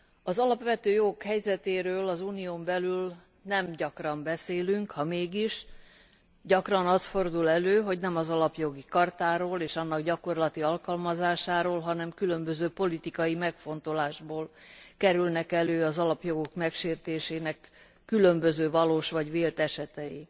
Az alapvető jogok helyzetéről az Unión belül nem gyakran beszélünk, ha mégis, gyakran az fordul elő, hogy nem az Alapjogi Chartáról és annak gyakorlati alkalmazásáról, hanem különböző politikai megfontolásból kerülnek elő az alapjogok megsértésének különböző valós vagy vélt esetei.